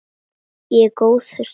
En góður stíll!